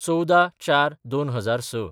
१४/०४/२००६